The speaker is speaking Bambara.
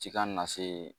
Ci ka na se